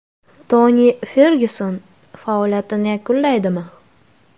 Toni Fergyuson faoliyatini yakunlaydimi?